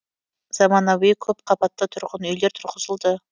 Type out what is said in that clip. заманауи көпқабатты тұрғын үйлер тұрғызылды